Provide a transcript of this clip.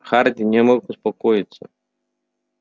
хардин не мог успокоиться